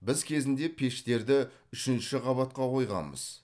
біз кезінде пештерді үшінші қабатқа қойғанбыз